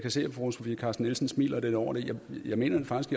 kan se at fru sofie carsten nielsen smiler lidt over det men jeg mener faktisk